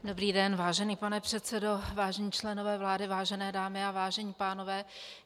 Dobrý den, vážený pane předsedo, vážení členové vlády, vážené dámy a vážení pánové.